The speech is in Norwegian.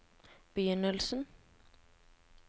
begynnelsen